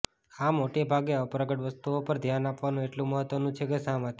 આ મોટે ભાગે અપ્રગટ વસ્તુઓ પર ધ્યાન આપવાનું એટલું મહત્વનું છે કે શા માટે